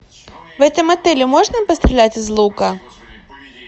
в этом отеле можно пострелять из лука